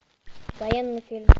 военный фильм